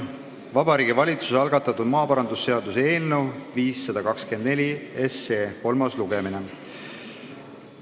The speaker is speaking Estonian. Vabariigi Valitsuse algatatud maaparandusseaduse eelnõu 524 kolmas lugemine.